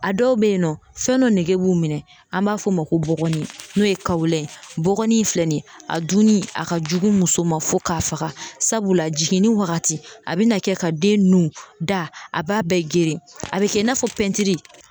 A dɔw bɛ yen nɔ fɛn nɔ nege b'u minɛ, an b'a fɔ, o ma ko bɔgɔni, n'o ye ye bɔgɔnin in filɛ nin ye a dunni a ka jugu muso ma fo k'a faka sabula jiginni wagati a bina kɛ ka den nun, da a b'a bɛɛ geren, a bi kɛ i n'a fɔ